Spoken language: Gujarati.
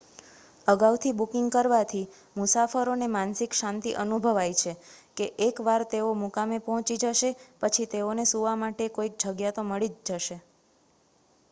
અગાઉથી બુકિંગ કરવાથી મુસાફરોને માનસિક શાંતિ અનુભવાય છે કે એક વાર તેઓ મુકામે પહોંચી જશે પછી તેઓને સુવા માટે કોઈક જગ્યા તો મળી જ જશે